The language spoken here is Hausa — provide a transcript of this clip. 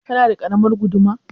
Kana da ƙaramar guduma?